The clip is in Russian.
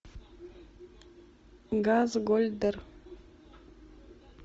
газгольдер